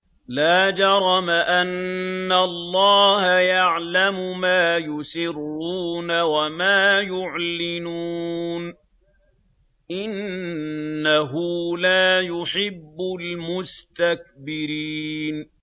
لَا جَرَمَ أَنَّ اللَّهَ يَعْلَمُ مَا يُسِرُّونَ وَمَا يُعْلِنُونَ ۚ إِنَّهُ لَا يُحِبُّ الْمُسْتَكْبِرِينَ